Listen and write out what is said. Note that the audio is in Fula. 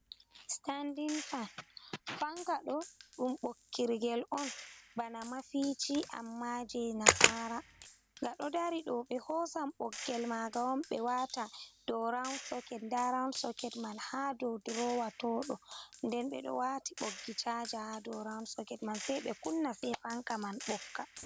Standin fan fankaɗo ɗum bokkirgel on bana mafici amma je nasara, ngaɗo dari ɗo ɓe hosan ɓoggel maga on ɓe wata ɗo roud round. Soket man ha dow drowa toɗo nden ɓeɗo wati boggi caja ha do round soket man se ɓe kunna se fanka man bokka.